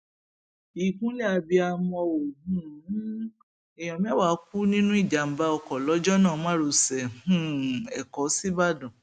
ìkúnlẹ abiyamọ um o èèyàn mẹwàá kú nínú ìjàmbá ọkọ lọjọnà márosé um ẹkọ sìbàdàn